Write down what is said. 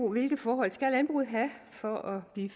hvilke forhold skal landbruget have for at blive